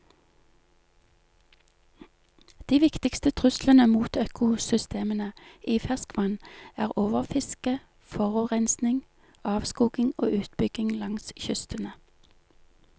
De viktigste truslene mot økosystemene i ferskvann er overfiske, forurensning, avskoging og utbygging langs kystene.